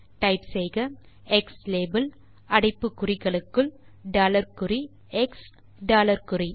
type செய்க க்ஸ்லாபெல் அடைப்பு குறிகளுக்குள் டாலர் குறி எக்ஸ் டாலர் குறி